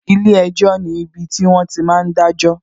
Ilé ẹjọ́ ni ibiti wọn ti máa ń dajo